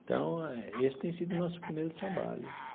Então eh, esse tem sido o nosso primeiro trabalho.